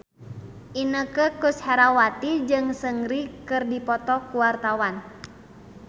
Inneke Koesherawati jeung Seungri keur dipoto ku wartawan